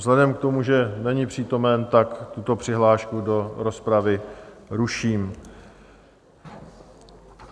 Vzhledem k tomu, že není přítomen, tak tuto přihlášku do rozpravy ruším.